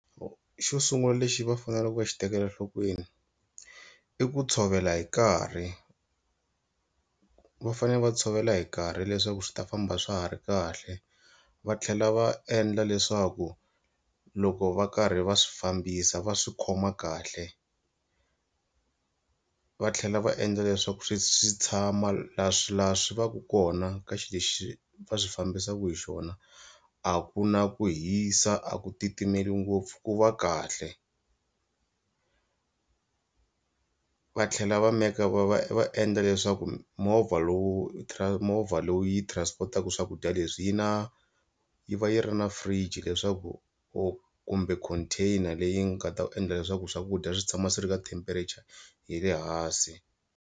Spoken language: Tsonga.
Xo sungula lexi va faneleke va xi tekela enhlokweni i ku tshovela hi nkarhi va fanele va tshovela hi nkarhi leswaku swi ta famba swa ha ri kahle va tlhela va endla leswaku loko va karhi va swi fambisa va swi khoma kahle va tlhela va endla leswaku swi swi tshama, laha swi vaka kona ka xilo lexi va swi fambisaka hi xona a ku na ku hisa a ku titimela ngopfu ku va kahle, va tlhela va meka va va va endla leswaku movha lowu movha vhele lowu yi transport-aka swakudya leswi yi na yi va yi ri na fridge leswaku or kumbe container leyi nga ta endla leswaku swakudya swi tshama swi ri ka temperature ya le hansi.